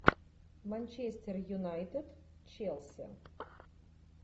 манчестер юнайтед челси